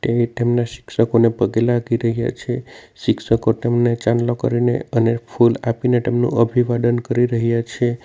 અહીં તેમના શિક્ષકોને પગે લાગી રહ્યા છે શિક્ષકો તેમને ચાંદલો કરીને અને ફૂલ આપીને તેમનું અભિવાદન કરી રહ્યા છે.